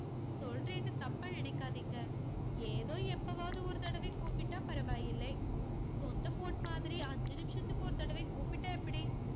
சொல்றேன்னு தப்பா நினைக்காதீங்க. ஏதோ எப்பவாவது ஒரு தடவை கூப்பிட்டா பரவாயில்லை சொந்த phone மாதிரி அஞ்சு நிமிஷத்துக்கு ஒரு தடவை கூப்பிட்டா எப்படி?